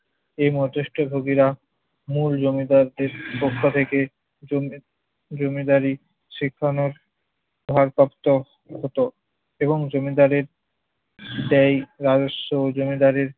এই মধ্যস্থ ভোগীরা মূল জমিদারদের পক্ষ থেকে জমি~ জমিদারি শিখনের ভারপ্রাপ্ত হতো এবং জমিদারের ব্যয় রাজস্ব ও জমিদারির